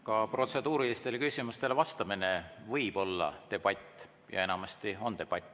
Ka protseduurilistele küsimustele vastamine võib olla debatt ja enamasti on debatt.